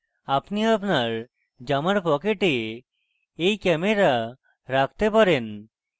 আপনি আপনার জামার pocket you camera রাখতে পারেন